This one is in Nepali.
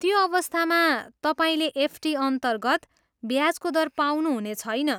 त्यो अवस्थामा, तपाईँले एफडीअन्तर्गत ब्याजको दर पाउनुहुने छैन।